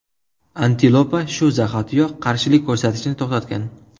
Antilopa shu zahotiyoq qarshilik ko‘rsatishni to‘xtatgan.